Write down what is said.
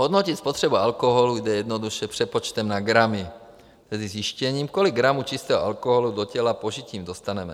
Hodnotit spotřebu alkoholu jde jednoduše přepočtem na gramy, tedy zjištěním, kolik gramů čistého alkoholu do těla požitím dostaneme.